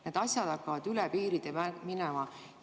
Need asjad hakkavad üle piiride minema.